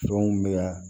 Fɛnw bɛ yan